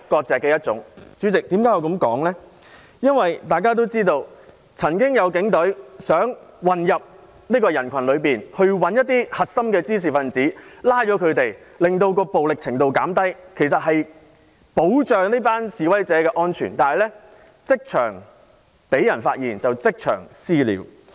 主席，大家也知道，有警員想混入人群當中找出核心滋事分子並拘捕他們，令整件事的暴力程度減低，原意是要保障示威者的安全，但他被人發現後卻被他們即場"私了"。